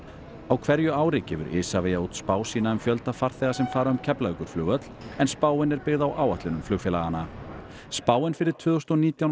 á hverju ári gefur Isavia út spá sína um fjölda farþega sem fara um Keflavíkurflugvöll en spáin er byggð á áætlunum flugfélaganna spáin fyrir tvö þúsund og nítján